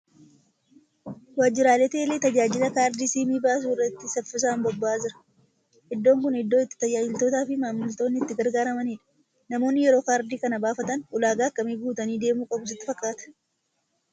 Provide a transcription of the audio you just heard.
Waajjirri teelee tajaajila kaardii siimii baasuu irratti saffisaan bobba'aa jira. Iddoon kun iddoo itti tajaajiltootaa fi maamiltoonni itti gargaaramanidha. Namoonni yeroo Kaardii kana baafatan ulaagaa akkamii guutanii deemuu qabu sitti fakkaata?